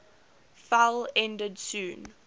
fell ended soon